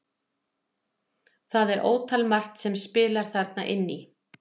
Það er ótal margt sem spilar þarna inn í.